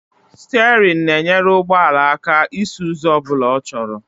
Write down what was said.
Sterịn na-enyere ụgbọala aka isi ụzọ ọbụla ọ chọrọ